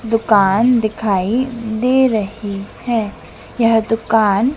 दुकान दिखाई दे रही है यह दुकान--